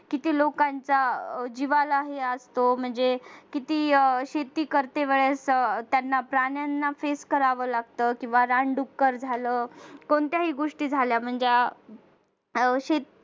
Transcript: किती लोकांच्या जीवाला हे असतो म्हणजे किती शेती करते वेळेस त्यांना प्राण्यांना face कराव लागत किंवा रानडुक्कर झालं काही कोणत्याही गोष्टी झाल्या म्हणजे अह शेती